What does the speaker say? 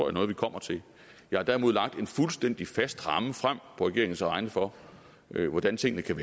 er noget vi kommer til jeg har derimod lagt en fuldstændig fast ramme frem på regeringens vegne for hvordan tingene kan